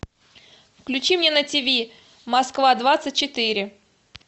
включи мне на тв москва двадцать четыре